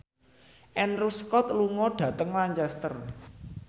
Andrew Scott lunga dhateng Lancaster